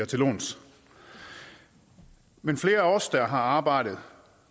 til låns men flere af os der har arbejdet